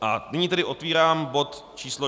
Nyní tedy otvírám bod číslo